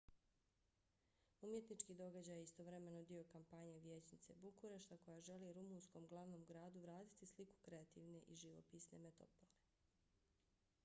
umjetnički događaj je istovremeno dio kampanje vijećnice bukurešta koja želi rumunskom glavnom gradu vratiti sliku kreativne i živopisne metropole